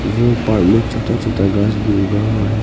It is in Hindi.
वो पार्क में छोटा छोटा घास भी उगा हुआ है।